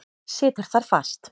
Situr þar fast.